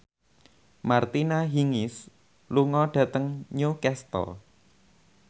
Martina Hingis lunga dhateng Newcastle